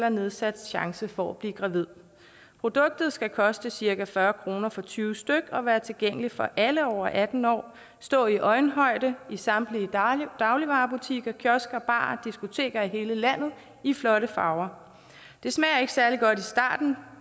og nedsat chance for at blive gravid produktet skal koste cirka fyrre kroner for tyve stykke og være tilgængeligt for alle over atten år stå i øjenhøjde i samtlige dagligvarebutikker kiosker barer og diskoteker i hele landet i flotte farver det smager ikke særlig godt i starten